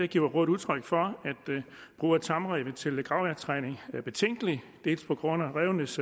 giver rådet udtryk for at brug af tamræve til gravjagttræning er betænkelig dels på grund af rævenes